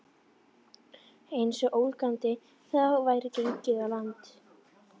Einsog ólgandi hafið væri gengið á land.